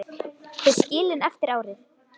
Þau skilin eftir árið.